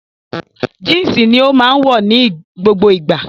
Jínsì ni ó máa wọ̀ ní gbogbo ìgbà